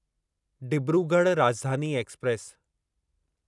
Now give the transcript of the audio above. Dibrugarh Rajdhani express